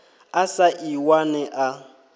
a sa ḓi wane a